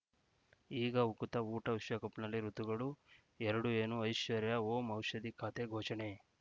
ಈಗ ಉಕುತ ಊಟ ವಿಶ್ವಕಪ್‌ನಲ್ಲಿ ಋತುಗಳು ಎರಡು ಏನು ಐಶ್ವರ್ಯಾ ಓಂ ಔಷಧಿ ಖಾತೆ ಘೋಷಣೆ